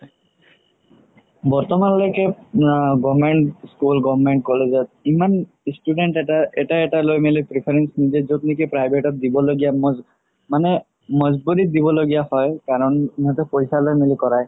বৰ্তমান লৈকে আ government school government college ত ইমান student এটা এটা লৈ মিলি preference নিদিয়ে য'ত নেকি private ত দিব লগিয়া মানে মজবুৰিত দিব লগিয়া হয় কাৰণ ইহতে পইচা লই মিলি কৰা